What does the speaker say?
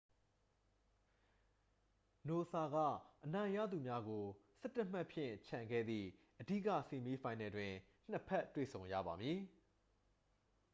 နိုဆာက အနိုင်ရသူများကို 11 မှတ်ဖြင့် ချန်ခဲ့သည့် အဓိက ဆီးမီးဖိုင်နယ်တွင် နှစ် ဖက် တွေ့ဆုံရပါမည်